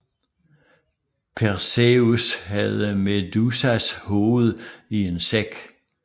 Perseus havde Medusas hoved i en sæk